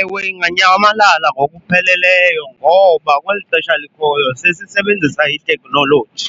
Ewe, inganyamalala ngokupheleleyo ngoba kweli xesha likhoyo sesisebenzisa itekhnoloji